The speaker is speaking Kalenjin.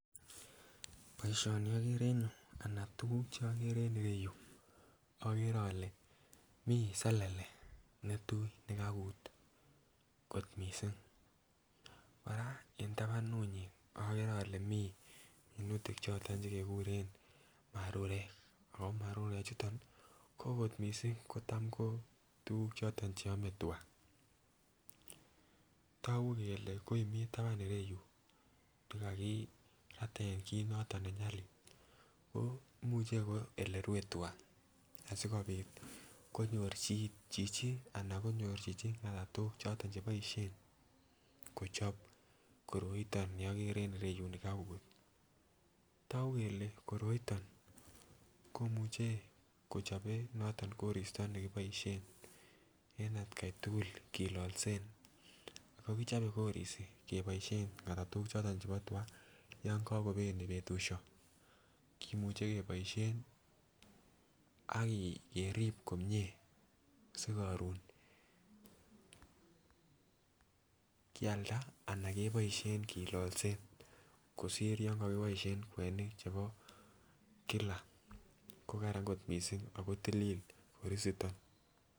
Boisioni agere en yu ana tuguk chokere ereyu, agere ale mi selele ne tui ne kakut kot mising. Kora en tabanunyi agere ale mi minutik choto chegeguren marurek ago marurechuton ko ogot mising kotam ko tuguk choto che ame tuga. Tagu kele koi mi taban ireyu kokakitech chi kit noto ne nyalil. Ko imuche ko olerue tuga asigopit konyor chichi ngatatok choto cheboisien kochob koroito ni agere en ereyu. Tagu kole koroito komuche kochobe noto koristo ne kiboisien en atkai tugul kilalsen ago kichope korisi keboisien ngatatok choto chebo tuga yon kagobeni betusyo. Kimuche keboisien ak kerip komie sigarun kialda anan keboisien kilalsen kosir yon kakiboisien kwenik chebo kila. Ko kararan kot mising ago tilil korisiton.